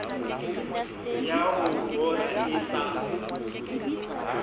ya ho bora e sa